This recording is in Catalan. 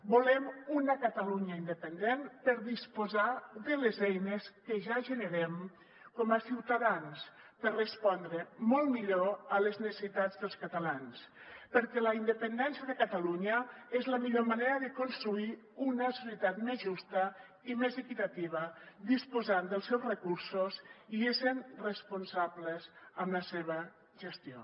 volem una catalunya independent per disposar de les eines que ja generem com a ciutadans per respondre molt millor a les necessitats dels catalans perquè la independència de catalunya és la millor manera de construir una societat més justa i més equitativa disposant dels seus recursos i essent responsables amb la seva gestió